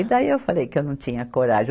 E daí eu falei que eu não tinha coragem.